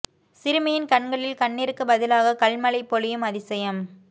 சிறுமியின் கண்களில் கண்ணீருக்கு பதிலாக கல் மழை பொழியும் அதிசயம்